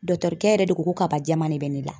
Dɔkitɛrikɛ yɛrɛ de ko ko kaba jɛman de bɛ ne la